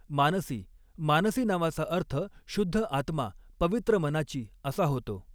मानसी मानसी नावाचा अर्थ शुद्ध आत्मा पवित्र मनाची असा होतो.